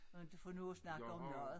For inte for nu at snakke om noget